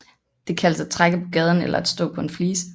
Det kaldes at trække på gaden eller at stå på en flise